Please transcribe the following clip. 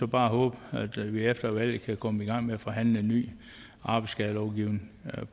bare håbe at vi efter valget kan komme i gang med at forhandle en ny arbejdsskadelovgivning